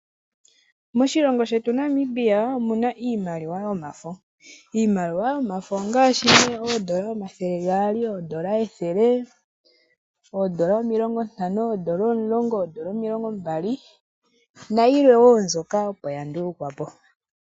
Moshilongo shetu Namibia omuna iimaliwa yomafo, iimaliwa yomafo ongaashi nee oondola omathele gaali, oondola ethele, oondola omilongo ntano, oondola omilongo mbali nayilwe wo mbyoka opo ya ndulukwa po.